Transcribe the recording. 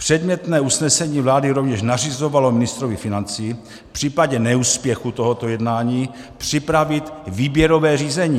Předmětné usnesení vlády rovněž nařizovalo ministrovi financí v případě neúspěchu tohoto jednání připravit výběrové řízení.